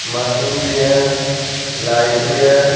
Machine भी है light भी हैं।